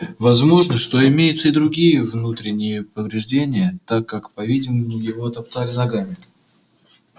возможно что имеются и другие внутренние повреждения так как по видимому его топтали ногами